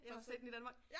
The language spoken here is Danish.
Ind og se den i Danmark